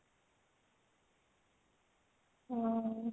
ହୁଁ